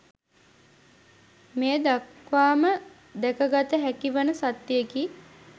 මේ දක්වාම දැකගත හැකි වන සත්‍යයකි.